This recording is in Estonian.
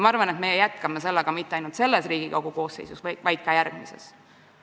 Ma arvan, et me jätkame sellega mitte ainult selles Riigikogu koosseisus, vaid ka järgmises.